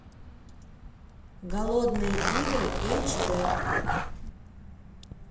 голодные игры эйч дэ